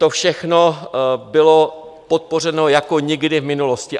To všechno bylo podpořeno jako nikdy v minulosti.